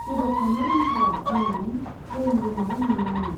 जेबोखौनो रोंथारा, होन्नानै ड्रयिं रुमाव लिंलाङो।